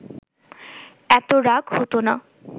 এত রাগ হতো না